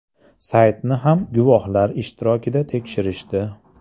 Saytni ham guvohlar ishtirokida tekshirishdi.